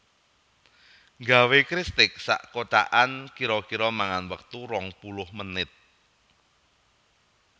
Nggawe kristik sak kotakan kiro kiro mangan wektu rong puluh menit